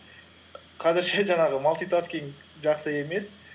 қазірше жаңағы малтитаскинг жақсы емес